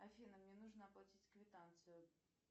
афина мне нужно оплатить квитанцию